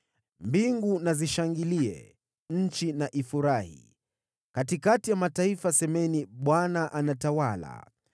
Mbingu na zishangilie, nchi na ifurahi; semeni katikati ya mataifa, “ Bwana anatawala!”